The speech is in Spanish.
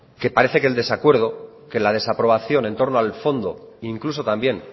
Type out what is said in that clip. que parece que el desacuerdo que la desaprobación en torno al fondo incluso también